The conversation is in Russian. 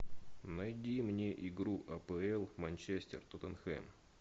найди мне игру апл манчестер тоттенхэм